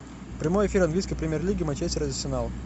прямой эфир английской премьер лиги манчестер арсенал